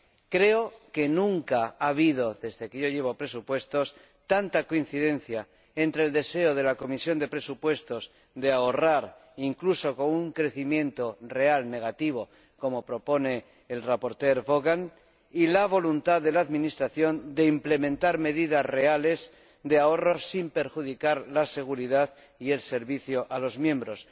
Creo que nunca ha habido, desde que me ocupo de asuntos presupuestarios, tanta coincidencia entre el deseo de la Comisión de Presupuestos de ahorrar, incluso con crecimiento real negativo —como propone el ponente Vaughan—, y la voluntad de la administración de implementar medidas reales de ahorro sin perjudicar la seguridad y el servicio a los diputados.